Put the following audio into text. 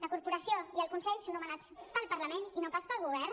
la corporació i el consell són nomenats pel parlament i no pas pel govern